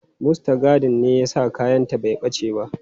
Mustagadin ne ya sa kayanta bai ɓace ba.